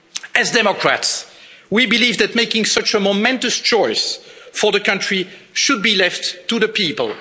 As Democrats, we believe that making such a momentous choice for the country should be left to the people.